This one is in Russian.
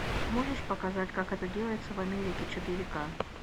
можешь показать как это делается в америке четыре ка